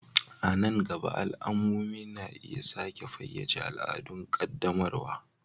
A nan gaba, al'ummomi na iya sake fayyace al'adun ƙaddamarwa.